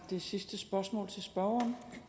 så